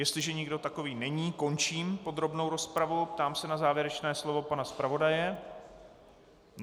Jestliže nikdo takový není, končím podrobnou rozpravu a ptám se na závěrečné slovo pana zpravodaje.